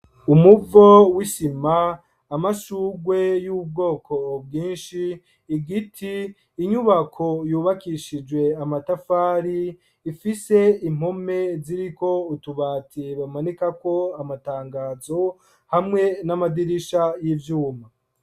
Umuvo w'isima, amashurwe y'ubwoko bwinshi, igiti, inyubako yubakishijwe amatafari ifise impome ziriko utubati bamanikako amatangazo hamwe n'amadirisha y'ivyuma.